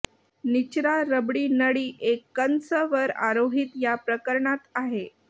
निचरा रबरी नळी एक कंस वर आरोहित या प्रकरणात आहे